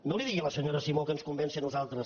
no li digui a la senyora simó que ens convenci a nosaltres